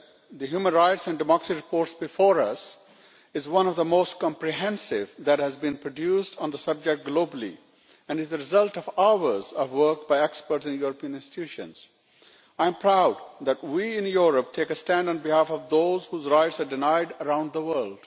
Mr President, the Human Rights and Democracy Report before us is one of the most comprehensive that has been produced on the subject globally and is the result of hours of work by experts in the European institutions. I am proud that we in Europe take a stand on behalf of those whose rights are denied around the world.